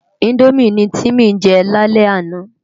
Indómi ni Timi jè lálè àná